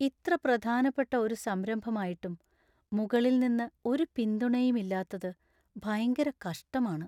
ഇത്ര പ്രധാനപ്പെട്ട ഒരു സംരംഭമായിട്ടും മുകളിൽ നിന്ന് ഒരു പിന്തുണയും ഇല്ലാത്തത് ഭയങ്കര കഷ്ടമാണ്.